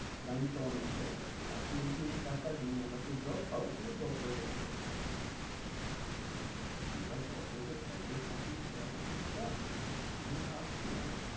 লাইনটা অনেক বড়ো আছে, এখন যদি আমি টাকা দিই আমি job পাবো কিন্তু দশ বছর পরে পাবো এবার দশ বছর private চাকরি করাটা খুব চাপ আমি ভাবছিলাম